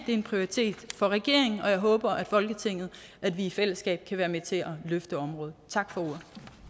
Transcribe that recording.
det er en prioritet for regeringen og jeg håber at vi i folketinget i fællesskab kan være med til at løfte området tak for